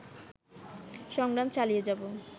সংগ্রাম চালিয়ে যাবো